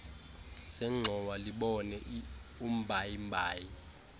zengxowa libone umbayimbayi